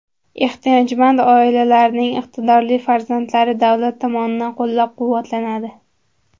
Ehtiyojmand oilalarning iqtidorli farzandlari davlat tomonidan qo‘llab-quvvatlanadi.